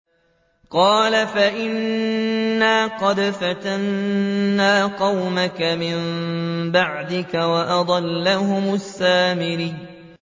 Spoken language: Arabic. قَالَ فَإِنَّا قَدْ فَتَنَّا قَوْمَكَ مِن بَعْدِكَ وَأَضَلَّهُمُ السَّامِرِيُّ